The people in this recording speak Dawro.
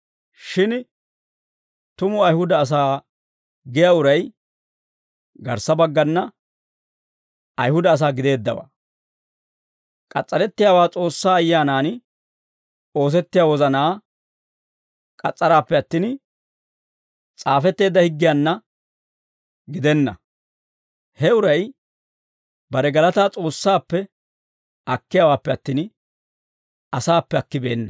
Shin tumu Ayihuda asaa giyaa uray garssa baggana Ayihuda asaa gideeddawaa; k'as's'arettiyaawaa S'oossaa Ayyaanan oosettiyaa wozanaa k'as's'araappe attin, s'aafetteedda higgiyaanna gidenna; he uray bare galataa S'oossaappe akkiyaawaappe attin, asaappe akkibeenna.